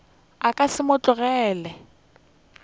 a ka se mo tlogele